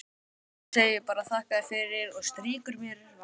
Hún segir bara: þakka þér fyrir, og strýkur mér vangann.